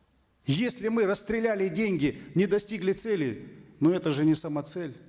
если мы расстреляли деньги не достигли цели ну это же не самоцель